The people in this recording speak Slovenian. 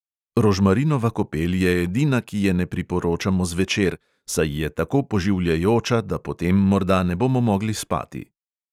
Rožmarinova kopel je edina, ki je ne priporočamo zvečer, saj je tako poživljajoča, da potem morda ne bomo mogli spati.